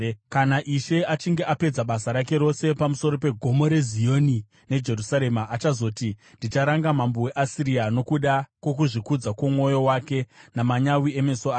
Kana Ishe achinge apedza basa rake rose pamusoro peGomo reZioni neJerusarema, achazoti, “Ndicharanga mambo weAsiria nokuda kwokuzvikudza kwomwoyo wake namanyawi emeso ake.